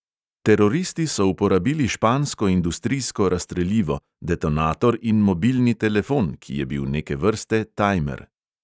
Teroristi so uporabili špansko industrijsko razstrelivo, detonator in mobilni telefon, ki je bil neke vrste tajmer.